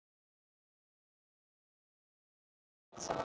Klukkan að verða eitt um nótt!